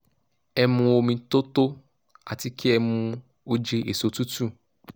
ẹ mu omi tó tó àti kí ẹ mu oje èso tútù